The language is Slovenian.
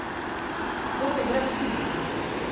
Dokaj brezhibno.